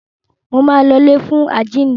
Máa lọ sí ilé fún àjínde.